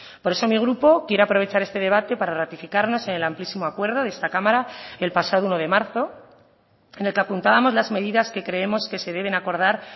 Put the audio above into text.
por eso mi grupo quiere aprovechar este debate para ratificarnos en el amplísimo acuerdo de esta cámara el pasado uno de marzo en el que apuntábamos las medidas que creemos que se deben acordar